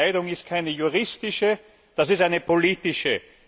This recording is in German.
Diese Entscheidung ist keine juristische, das ist eine politische.